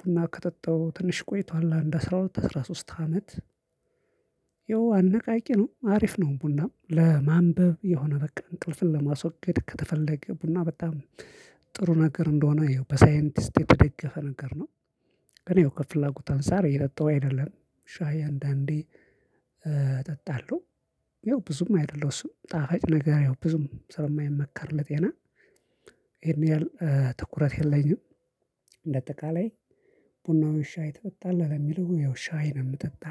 ቡና ከጠጣው ትንሽ ቆይቷል። አንድ አስራ ሁለት አስራ ሶስት አመት ያው አነቃቂ ነው አሪፍ ነው ቡናም ለማንበብ የሆነ በቃ እንቅልፍን ለማስወገድ ከተፈለገ ቡና በጣም ጥሩ ነገር እንደሆነ ያው በሳይንቲስት የተደገፈ ነገር ነው። ግን ያው ከፍላጎት አንፃር እየጠጣው አይደለም። ሻይ አንዳንዴ እጠጣለሁ ያው ብዙም አይደለሁ እሱም ጣፋጭ ነገር ያው ብዙም ስለማይመከር ለጤና ይሄን ያህል ትኩረት የለኝም። እንደ አጠቃላይ ቡና ወይ ሻይ ትጠጣለህ ለሚልው ያው ሻይ ነው የምጠጣ።